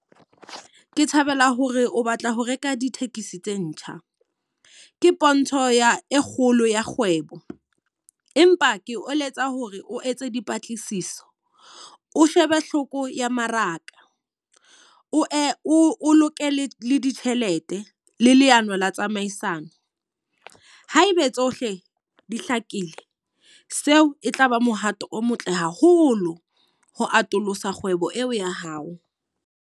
Ke thabela hore o batla ho reka ditekesi tse ntjha. Ke pontsho ya e kgolo ya kgwebo. Empa ke o eletsa hore o etse dipatlisiso o shebe hloko ya mmaraka, o e o loke le le ditjhelete le leano la tsamaisano. Haebe tsohle di hlakile, seo e tlaba mohato o motle haholo ho atolosa kgwebo eo ya hao.